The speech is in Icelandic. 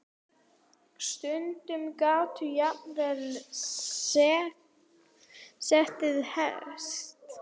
Sumir gátu jafnvel setið hest.